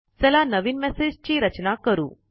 चला नवीन मेसेज ची रचना करू